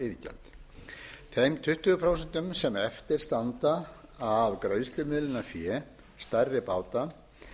vátryggingariðgjald þeim tuttugu prósent sem eftir standa af greiðslumiðlunarfé stærri báta er ráðstafað inn